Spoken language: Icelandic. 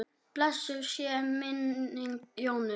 Blessuð sé minning Jónu.